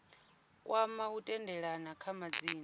kwama u tendelana kha madzina